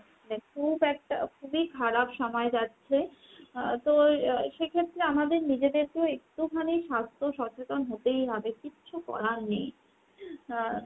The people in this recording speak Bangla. খুব একটা খুবই খারাপ সময় যাচ্ছে। আহ তো আহ সেক্ষেত্রে আমাদের নিজেদের কেও একটুখানি স্বাস্থ্য সচেতন হতেই হবে কিচ্ছু করার নেই। আ মানে